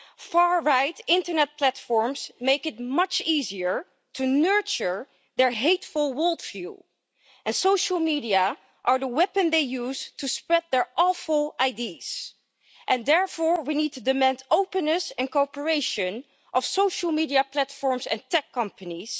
Far right internet platforms make it much easier to nurture their hateful world view, and social media are the weapon they use to spread their awful ideas. Therefore, we need to demand openness and cooperation of social media platforms and tech companies.